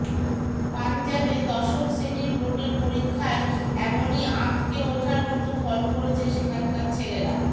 পাঞ্জাবে দশম শ্রেণির বোর্ডের পরীক্ষায় এমনই আঁতকে ওঠার মতো ফল করেছে সেখানকার ছেলেরা